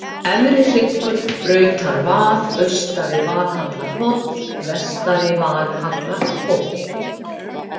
Efrihryggur, Brautarvað, Austari-Valhallarhóll, Vestari-Valhallarhóll